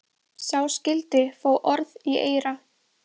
Sá skyldi fá orð í eyra.